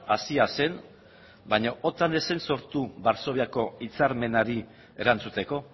hasia zen baina otan ez zen sortu varsoviako hitzarmenari erantzuteko